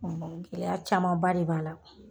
Gɛlɛya camanba de b'a la